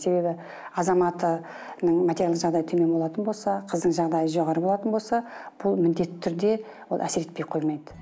себебі азаматының материалдық жағдайы төмен болатын болса қыздың жағдайы жоғары болатын болса бұл міндетті түрде ол әсер етпей қоймайды